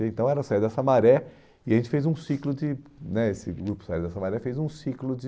Então era a Saída da Samaré e a gente fez um ciclo de... né esse grupo Saída da Samaré fez um ciclo de...